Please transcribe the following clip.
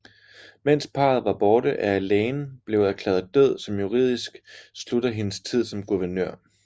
Mens parret var borte er Elaine blev erklæret død som juridisk slutter hendes tid som guvernør